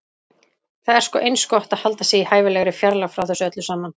Það er sko eins gott að halda sig í hæfilegri fjarlægð frá þessu öllu saman.